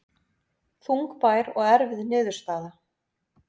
Þungbær og erfið niðurstaða